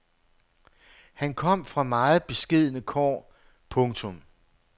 Han kom fra meget beskedne kår. punktum